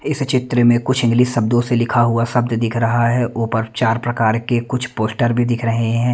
इस चित्र में कुछ इंग्लिश शब्दों से लिखा हुआ शब्द दिख रहा है ऊपर चार प्रकार के कुछ पोस्टर भी दिख रहे हैं।